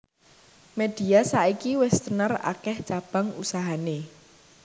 Media saiki wis tenar akeh cabang usahane